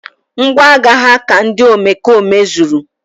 Ngwaagha ha ka ndị omekome zuru